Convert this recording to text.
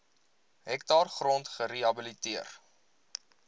hektaar grond gerehabiliteer